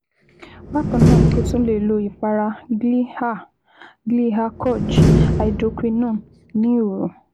Bákan náà, o tún lè lo ìpara Glyaha Glyaha koj Hydroquinone ní òru